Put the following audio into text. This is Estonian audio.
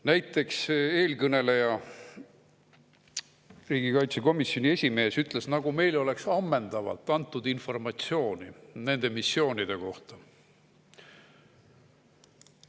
Näiteks eelkõneleja, riigikaitsekomisjoni esimees ütles, et meile on antud ammendavalt informatsiooni nende missioonide kohta.